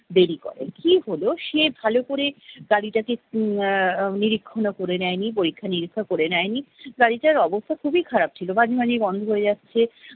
দেরি করে। ঠিক হলো সে ভালো করে গাড়িটা কে উম আহ নিরীক্ষণা করে নেয়নি পরীক্ষা নিরীক্ষা করে নেয়নি, গাড়িটার অবস্থা খুবই খারাপ ছিল- মাঝে~মাঝেই বন্ধ হয়ে যাচ্ছে